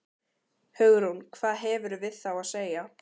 Hugrún: Hvað hefurðu við þá að segja?